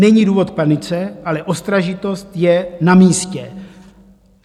Není důvod k panice, ale ostražitost je namístě.